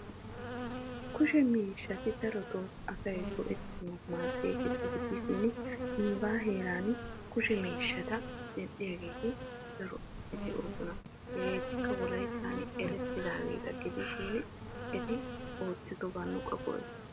Kushe miishshatti darotto go'ettiyo maadiyaba gidishin nuuga daro medhdhiya asatti de'osonna. Ettikka wolayttan keehippe erettosonna.